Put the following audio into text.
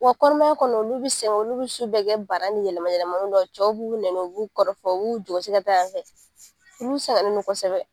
Wa kɔnɔmaya kɔnɔ olu bi sɛgɛn olu bi su bɛ kɛ baara ni yɛlɛma yɛlɛma lu la cɛw b'u k'u nɛni u b'u kɔrɔfɔ u b'u jɔsi ka taa yan fɛ olu sɛgɛnnen do kosɛbɛ